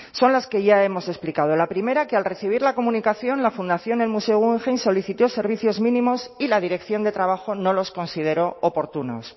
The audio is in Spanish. son las que ya hemos explicado la primera que al recibir la comunicación la fundación del museo guggenheim solicitó servicios mínimos y la dirección de trabajo no los consideró oportunos